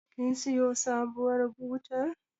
kin siyo sabuwar butar